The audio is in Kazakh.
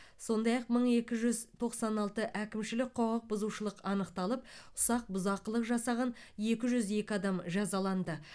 сондай ақ мың екі жүз тоқсан алты әкімшілік құқық бұзушылық анықталып ұсақ бұзақылық жасаған екі жүз екі адам жазаланды